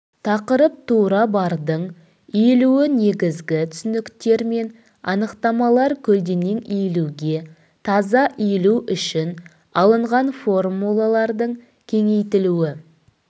тақырып тура бардың иілуі негізгі түсініктер мен анықтамалар көлденең иілуге таза иілу үшін алынған формулалардың кеңейтілуі